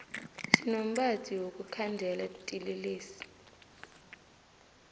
sinombadi wokukhandela tinlelesi